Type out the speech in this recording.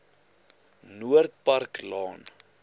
noord park laan